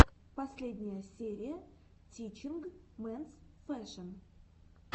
последняя серия тичинг менс фэшэн